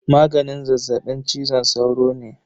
Maganin zazzaɓin cizon sauro ne.